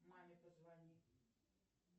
маме позвони